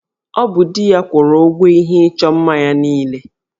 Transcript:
Ọ bụ di ya kwụrụ ụgwọ ihe ịchọ mma ya niile